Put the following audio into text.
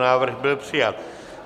Návrh byl přijat.